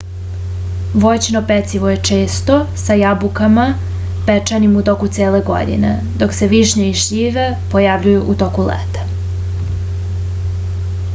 voćno pecivo je često sa jabukama pečenim u toku cele godine dok se višnje i šljive pojavljuju u toku leta